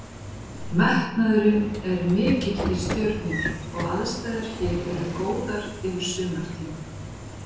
Metnaðurinn er mikill í Stjörnunni og aðstæður hér eru góðar yfir sumartímann.